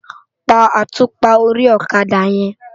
Pá átúpá óri òkadá yèn